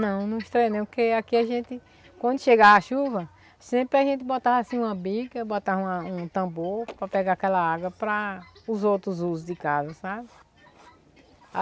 Não, não estranhei, porque aqui a gente, quando chegava a chuva, sempre a gente botava assim uma bica, botava uma um tambor para pegar aquela água para os outros usos de casa, sabe?